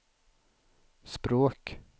språk